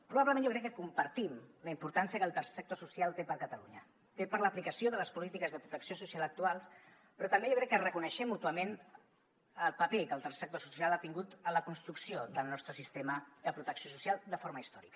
probablement jo crec que compartim la importància que el tercer sector social té per a catalunya té per a l’aplicació de les polítiques de protecció social actuals però també jo crec que reconeixem mútuament el paper que el tercer sector social ha tingut en la construcció del nostre sistema de protecció social de forma històrica